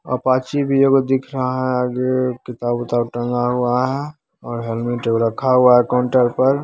Apache भी एक गो दिखाई दे रहा है | आगे किताब-उताब टंगा हुआ है और हेलमेट एगो रखा हुआ है काउंटर पर---